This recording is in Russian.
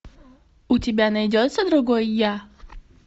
у тебя найдется другой я